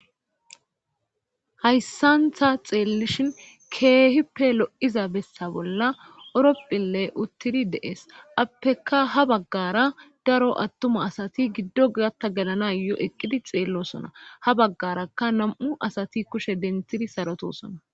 Haysa ta xelishin kehippe lo'iza besa bolla orphiley uttidi de'es appeka ha bagara daro attuma asati appeka gatha gelanayo eqidi xellosona ha bagaraka nam'u asati kushe denthidi